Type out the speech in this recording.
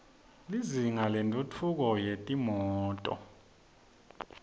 lizinga lentfutfu ko yetimoto